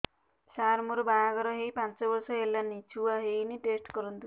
ସାର ମୋର ବାହାଘର ହେଇ ପାଞ୍ଚ ବର୍ଷ ହେଲାନି ଛୁଆ ହେଇନି ଟେଷ୍ଟ କରନ୍ତୁ